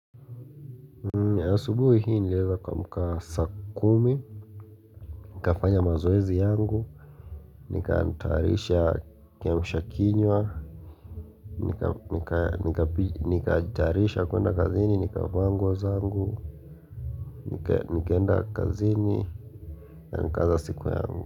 Asubuhi hii niliweza kuamka saa kumi, nikafanya mazoezi yangu, nikaatayarisha kiamsha kinywa, nikaajitayarisha kuenda kazini, nikavaa nguo zangu, nikaenda kazini, na nikaanza siku yangu.